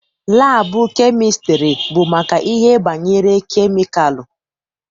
Laabụ kemịstrị bụ maka ihe banyere kemikalụ.